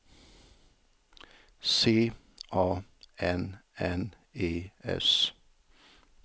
C A N N E S